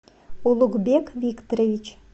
улугбек викторович